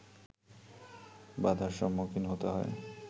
বাধার সম্মুখীন হতে হয়